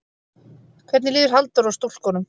Hvernig líður Halldóru og stúlkunum?